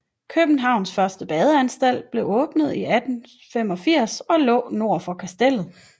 Københavns første badeanstalt blev åbnet i 1785 og lå nord for Kastellet